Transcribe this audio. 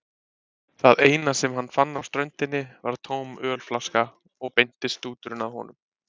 Það eina sem hann fann á ströndinni var tóm ölflaska og beindist stúturinn að honum.